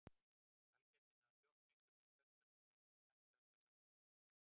Sælgætið náði fljótt miklum vinsældum og er með mest selda sælgæti í heimi.